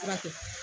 Fura kɛ